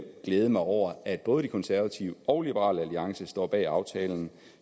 glæde mig over at både de konservative og liberal alliance står bag aftalen